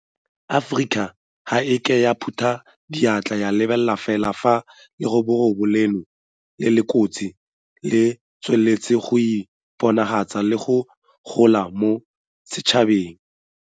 Aforika ga e a ke ya phuta diatla ya lebelela fela fa leroborobo leno le le kotsi le tsweletse go iponagatsa le go gola mo setšhabeng.